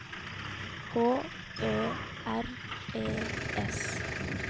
H Ø R E S